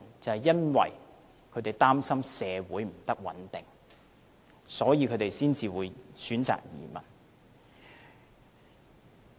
就是因為他們擔心社會不穩定，所以才會選擇移民。